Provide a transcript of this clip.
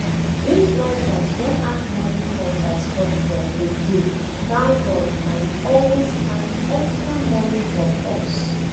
Dis drivers don add money for transport fare again thank God I dey always carry extra money for purse